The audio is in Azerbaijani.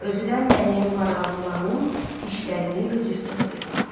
Özü də mənim maralvuranım dişlərini qıcırdığı bir vaxtı.